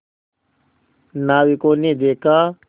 नाविकों ने देखा